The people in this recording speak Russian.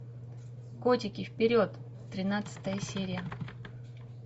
котики вперед тринадцатая серия